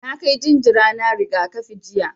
Na kai jinjira na rigakafi jiya.